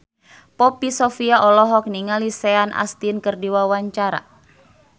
Poppy Sovia olohok ningali Sean Astin keur diwawancara